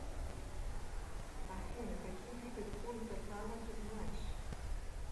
афина какие виды пунта кана ты знаешь